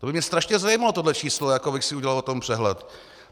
To by mě strašně zajímalo, tohle číslo, abych si udělal o tom přehled.